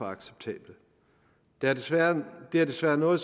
acceptable det er desværre desværre noget